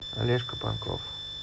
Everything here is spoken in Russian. олежка панков